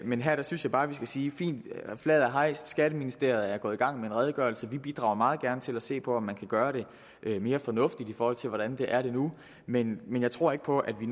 men her synes jeg bare vi skal sige fint flaget er hejst skatteministeriet er gået i gang med en redegørelse og vi bidrager meget gerne til at se på om man kan gøre det mere fornuftigt i forhold til hvordan det er nu men men jeg tror ikke på at vi